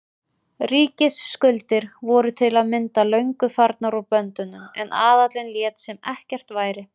Ríkisskuldir voru til að mynda löngu farnar úr böndunum en aðallinn lét sem ekkert væri.